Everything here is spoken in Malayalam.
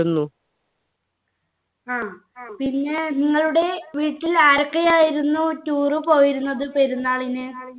ആ പിന്നെ നിങ്ങളുടെ വീട്ടിൽ ആരൊക്കെയായിരുന്നു tour പോയിരുന്നത് പെരുന്നാളിന്